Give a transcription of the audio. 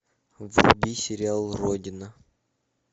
вруби сериал родина